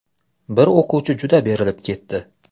Bir o‘quvchi juda berilib ketdi .